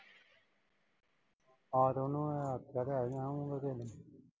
ਰਾਤ ਉਹਨੂੰ ਮੈਂ ਆਖਿਆ ਲੈ ਕੇ ਆਊਂਗਾ ਕਿ ਨਈਂ।